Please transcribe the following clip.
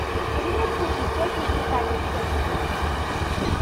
куриной кухни печень в сметане рецепт запустить